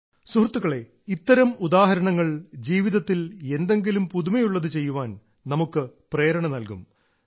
സുഹൃത്തുക്കളെ ഇത്തരം ഉദാഹരണങ്ങൾ ജീവിതത്തിൽ എന്തെങ്കിലും പുതുമയുള്ളത് ചെയ്യാൻ നമുക്ക് പ്രേരണ നൽകും